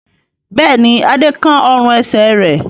Bẹ́ẹ̀ ni, Adé kán ọrùn-ẹsẹ̀ rẹ̀.